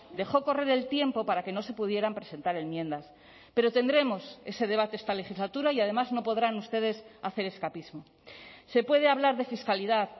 dejó correr el tiempo para que no se pudieran presentar enmiendas pero tendremos ese debate esta legislatura y además no podrán ustedes hacer escapismo se puede hablar de fiscalidad